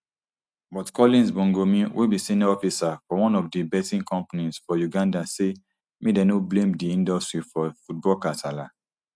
but collins bongomine wey be senior officer for one of di betting companies for uganda say make dem no blame di industry for football kasala